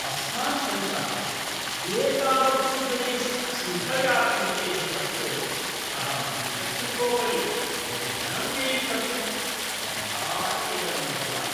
अस्मान् परितः एतावत्सु जनेषु क्षुधया पीडितेषु सत्सु अहं द्विचक्रिकोपरि बहु धनं व्ययीकर्तुं सर्वथा खेदमनुभवामि।